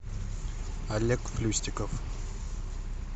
олег плюстиков